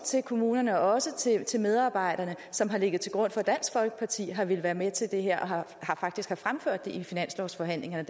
til kommunerne og også til til medarbejderne som har ligget til grund for at dansk folkeparti har villet være med til det her og faktisk har fremført det i finanslovsforhandlingerne